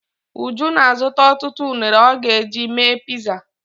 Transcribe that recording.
Uju na-azụta ọtụtụ unere ọ ga-eji mee piza.